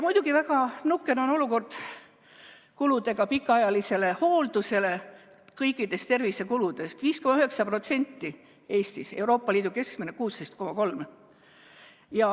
Muidugi on väga nukker olukord pikaajalise hoolduse kuludega, need on Eestis kõikidest tervisekuludest 5,9%, Euroopa Liidu keskmine on 16,3%.